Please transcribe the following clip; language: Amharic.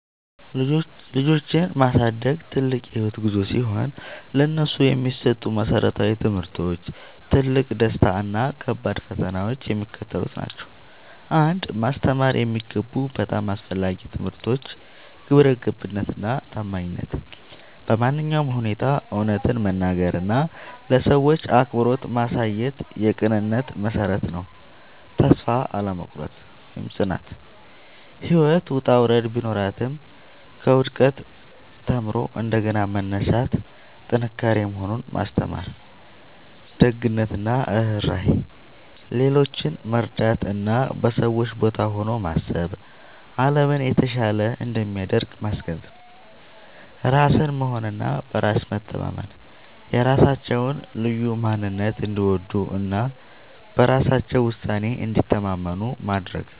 ልጆችን ማሳደግ ትልቅ የህይወት ጉዞ ሲሆን፥ ለነሱ የሚሰጡ መሰረታዊ ትምህርቶች፣ ትልቁ ደስታ እና ከባዱ ፈተና የሚከተሉት ናቸው 1. ማስተማር የሚገቡ በጣም አስፈላጊ ትምህርቶች ግብረገብነት እና ታማኝነት በማንኛውም ሁኔታ እውነትን መናገር እና ለሰዎች አክብሮት ማሳየት የቅንነት መሠረት ነው። ተስፋ አለመቁረጥ (ጽናት)፦ ህይወት ውጣ ውረድ ቢኖራትም፣ ከውድቀት ተምሮ እንደገና መነሳት ጥንካሬ መሆኑን ማስተማር። ደግነት እና ርህራሄ፦ ሌሎችን መርዳት እና በሰዎች ቦታ ሆኖ ማሰብ አለምን የተሻለች እንደሚያደርግ ማስገንዘብ። ራስን መሆን እና በራስ መተማመን፦ የራሳቸውን ልዩ ማንነት እንዲወዱ እና በራሳቸው ውሳኔ እንዲተማመኑ ማድረግ።